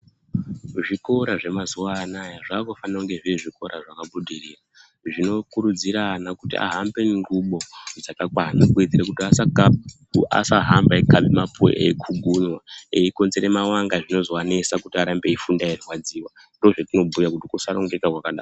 Zvikora zvemazuva anaya zvakufana kunge zviri zvikora zvakabudirira zvino kurudzire ana kuti ahambe nengubo dzakakwana kuwedzere kuti asa hamba eikaba mapuwe eikugunywa ekonzere mavanga zvinozo anesa kuti arambe eifunda eirwadziwa ndozvetinobhuya kuti kusarongeka kwakadaro